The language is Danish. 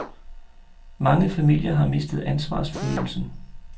Mange familier har mistet ansvarsfølelsen.